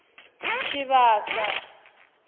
tshivhasa